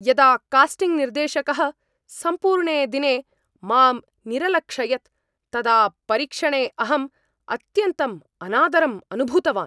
यदा कास्टिङ्ग् निर्देशकः सम्पूर्णे दिने मां निरलक्षयत् तदा परीक्षणे अहं अत्यन्तं अनादरम् अनुभूतवान्।